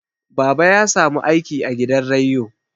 baba ya samu aiki a gidan reiyo